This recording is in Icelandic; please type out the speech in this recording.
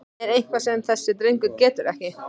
Er eitthvað sem þessi drengur getur ekki?!